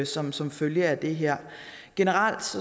som som følge af det her generelt